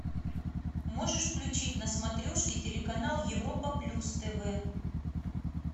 можешь включить на смотрешке телеканал европа плюс тв